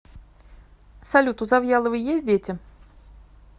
салют у завьяловой есть дети